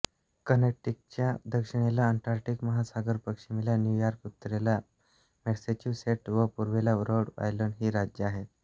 कनेटिकटच्या दक्षिणेला अटलांटिक महासागर पश्चिमेला न्यूयॉर्क उत्तरेला मॅसेच्युसेट्स व पूर्वेला ऱ्होड आयलंड ही राज्ये आहेत